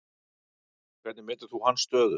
Hvernig metur þú hans stöðu?